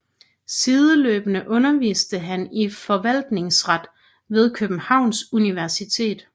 Sideløbende underviste han i forvaltningsret ved Københavns Universitet